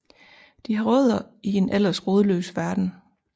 De har rødder i en ellers rodløs verden